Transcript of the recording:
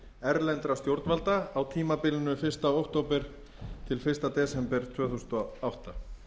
erlendra stjórnvalda á tímabilinu fyrsta október til fyrsta desember tvö þúsund og átta